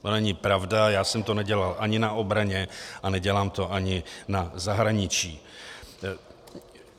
To není pravda, já jsem to nedělal ani na obraně a nedělám to ani na zahraničí.